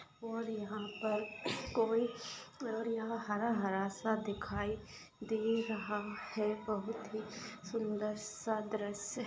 और यहाँ पर कोई और यहाँ हरा-हरा सा दिखाई दे रहा है बहुत ही सुंदर सा दृश्य--